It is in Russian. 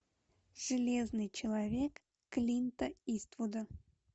железный человек клинта иствуда